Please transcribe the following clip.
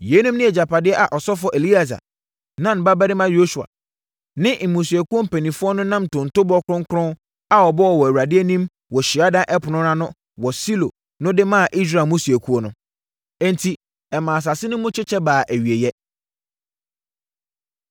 Yeinom ne agyapadeɛ a ɔsɔfoɔ Eleasa, Nun babarima Yosua ne mmusuakuo mpanimfoɔ no nam ntontobɔ kronkron a wɔbɔɔ wɔ Awurade anim wɔ hyiadan ɛpono no ano wɔ Silo no de maa Israel mmusuakuo no. Enti, ɛmaa asase no mu kyekyɛ baa awieeɛ.